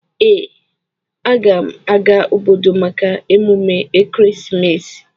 Ee, aga m aga obodo maka emume ekeresimesi.